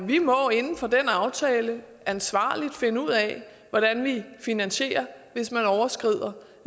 vi må inden for den aftale ansvarligt finde ud af hvordan vi finansierer hvis man overskrider